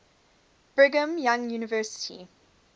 brigham young university